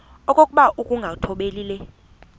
okokuba ukungathobeli le